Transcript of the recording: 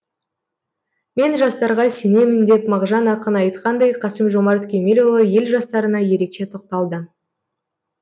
мен жастарға сенемін деп мағжан ақын айтқандай қасым жомарт кемелұлы ел жастарына ерекше тоқталды